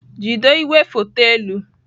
Jido igwefoto elu!